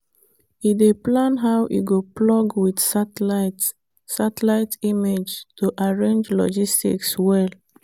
e dey plan how e go plug with satellite image to arrange logistics well.